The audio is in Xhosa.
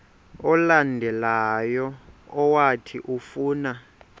olandelayo owathi ufuna